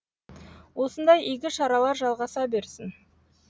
осындай игі шаралар жалғаса берсін